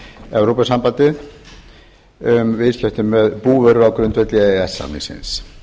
evrópusambandið um viðskipti með búvöru á grundvelli e e s samningsins